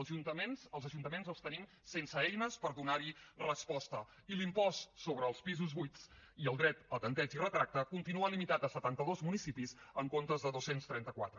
als ajuntaments els tenim sense eines per donar hi resposta i l’impost sobre els pisos buits i el dret al tempteig i retracte continua limitat a setanta dos municipis en comptes de dos cents i trenta quatre